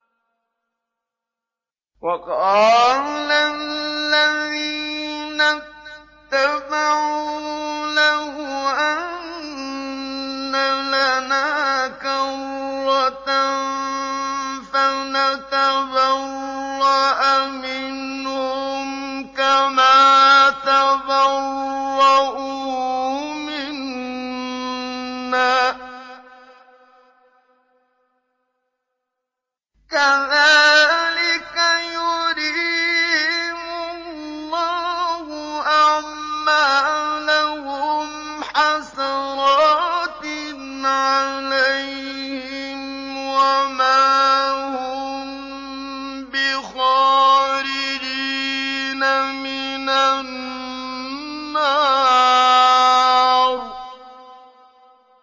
وَقَالَ الَّذِينَ اتَّبَعُوا لَوْ أَنَّ لَنَا كَرَّةً فَنَتَبَرَّأَ مِنْهُمْ كَمَا تَبَرَّءُوا مِنَّا ۗ كَذَٰلِكَ يُرِيهِمُ اللَّهُ أَعْمَالَهُمْ حَسَرَاتٍ عَلَيْهِمْ ۖ وَمَا هُم بِخَارِجِينَ مِنَ النَّارِ